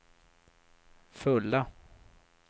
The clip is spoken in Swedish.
fulla